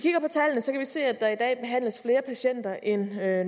se at der i dag behandles flere patienter end